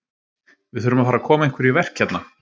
Við þurfum að fara að koma einhverju í verk hérna.